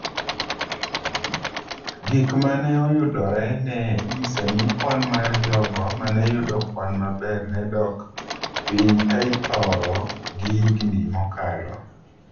Gik ma ne oyudore ne nyiso ni kwan mar jogo ma ne yudo kwan maber ne dok piny ka iporo gi higni mokalo.